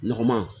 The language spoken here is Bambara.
Nɔgɔman